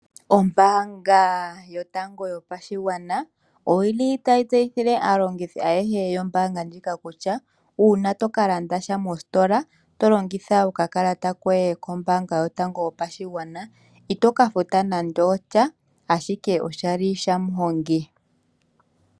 Ombaanga yotango yopashigwana oyili tayi tseyithile aalongithi ayehe yombaanga kutya, uuna tokalanda sha mositola tolongitha okakalata koye kombaanga yotango yopashigwana, itoka futa nande osha, ashike oshali shamuhongi.